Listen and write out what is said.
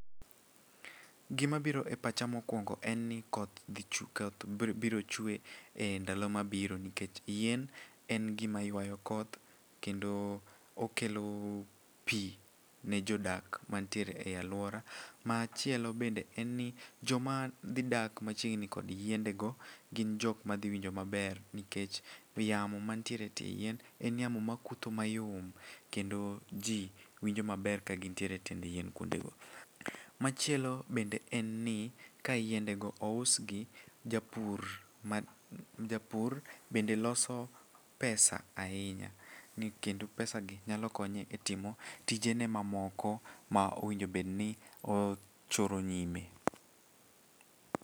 Gimabiro e pacha mokuongo en ni koth biro chwe e ndalo mabiro nikech yien en gima ywayo koth kendo okelo pi ne jodak mantiere e alwora. Machielo bende en ni joma dhidak machiegni kod yiendego gin jokma dhiwinjo maber nikech yamo mantiere e tie yien en yamo makutho mayom kendo ji winjo maber kagintiere e tiend yien kuondego. Machielo bende en ni ka yiendego ousgi, japur bende loso pesa ahinya ni kendo pesagi nyalo konye e timo tijene mamoko ma owinjo bedni ochoro nyime.